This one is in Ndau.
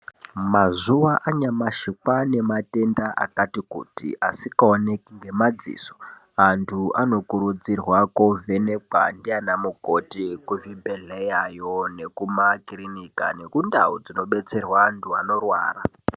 Mazuva anyamashi kwane matenda akati kuti asika oneki nge madziso antu ano kurudzirwa ko vhenekwa ndiana mukoti ku zvibhedhlera yo neku makirinika neku ndau dzino detserwa antu anorwara.